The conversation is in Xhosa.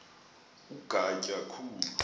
ku ugatya khulu